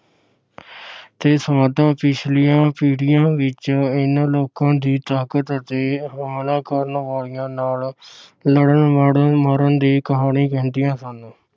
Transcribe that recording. ਤੇ ਸਮਾਧਾਂ ਪਿਛਲੀਆਂ ਪੀੜੀਆਂ ਵਿਚ ਇਨ੍ਹਾਂ ਲੋਕਾਂ ਦੀ ਤਾਕਤ ਅਤੇ ਹੋਲਾ ਕਰਨ ਵਾਲੀਆਂ ਨਾਲ ਲੜਨ ਮਰਨ ਮਰਨ ਦੀ ਕਹਾਣੀ ਕਹਿੰਦੀਆਂ ਸਨ।